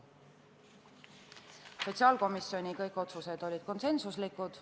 Kõik sotsiaalkomisjoni otsused olid konsensuslikud.